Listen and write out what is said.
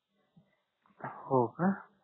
हो का